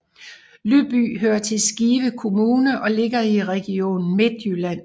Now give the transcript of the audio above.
Lyby hører til Skive Kommune og ligger i Region Midtjylland